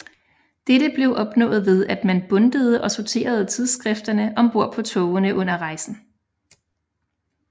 Dette blev opnået ved at man bundtede og sorterede tidsskrifterne om bord på togene under rejsen